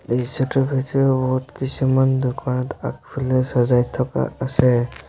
এই দৃশ্যটোৰ ভিতৰত বহুত কিছুমান দোকানত আগফালে সজাই থকা আছে।